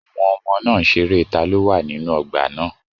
Àwọn ọmọ náà ń ṣeré taló wà nínú ọgbà náà